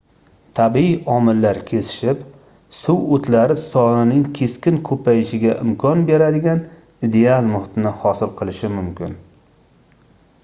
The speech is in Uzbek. tabiiy omillar kesishib suv oʻtlari sonining keskin koʻpayishiga imkon beradigan ideal muhitni hosil qilishi mumkin